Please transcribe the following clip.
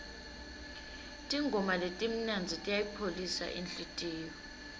tingoma letimnandzi tiyayipholisa inhlitiyo